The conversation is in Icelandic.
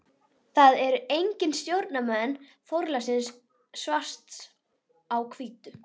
Hann tók skíðin, nestið og skíðafötin og fór út.